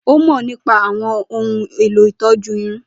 Ó mọ̀ nípa àwọn ohun èlò ìtọ́jú irun.